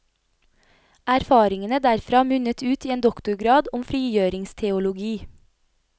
Erfaringene derfra munnet ut i en doktorgrad om frigjøringsteologi.